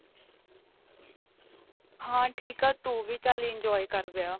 ਹਾਂ ਠੀਕ ਆਂ ਤੂੰ ਵੀ ਚੱਲ enjoy ਕ਼ਰ ਵਿਆਹ